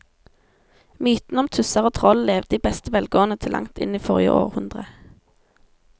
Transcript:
Mytene om tusser og troll levde i beste velgående til langt inn i forrige århundre.